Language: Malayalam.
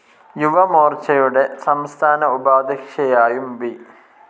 യുവമോർച്ചയുടെ സംസ്ഥാന ഉപാധ്യക്ഷയായും ബി.